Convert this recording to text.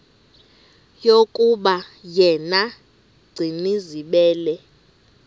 yokuba yena gcinizibele